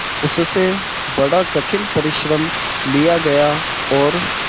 उससे बड़ा कठिन परिश्रम लिया गया और